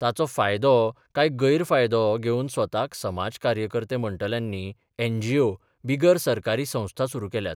ताचो फायदो काय गैरफायदो? घेवन स्वताक समाज कार्यकर्ते म्हणटल्यांनी एनजीओ बिगर सरकारी संस्था सुरू केल्यात.